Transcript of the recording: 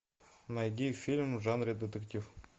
найди фильм в жанре детектив